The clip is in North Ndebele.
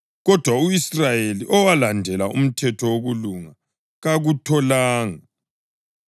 kodwa u-Israyeli owalandela umthetho wokulunga, kakutholanga.